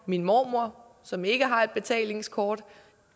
min mormor som ikke har et betalingskort